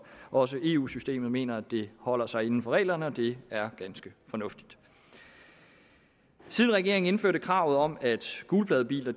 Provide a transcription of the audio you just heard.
også i eu systemet mener at det holder sig inden for reglerne og det er ganske fornuftigt siden regeringen indførte kravet om at gulpladebiler